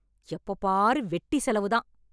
எப்போ பாரு வெட்டி செலவுதான்.